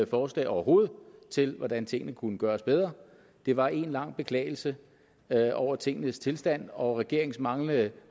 forslag overhovedet til hvordan tingene kunne gøres bedre det var en lang beklagelse over tingenes tilstand og regeringens manglende